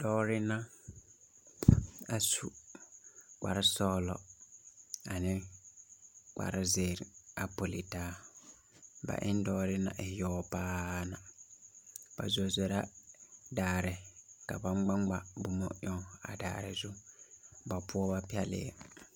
Dɔɔri na a su kparresɔglɔ ane kparrezéére a poli taa ba e ne dɔɔri naŋ e yaga paa ba zore la daare ka ba ŋmaŋma boma eŋ a daare poɔ.